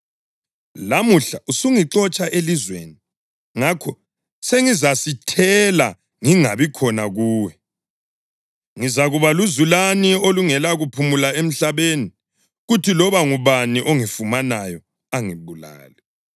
Lamuhla usungixotsha elizweni, ngakho sengizasithela ngingabi khona kuwe; ngizakuba luzulane olungela kuphumula emhlabeni, kuthi loba ngubani ongifumanayo angibulale.”